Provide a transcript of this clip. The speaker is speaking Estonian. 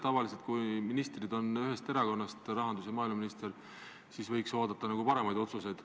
Tavaliselt siis, kui rahandus- ja maaeluminister on ühes erakonnas, võib oodata paremaid otsuseid.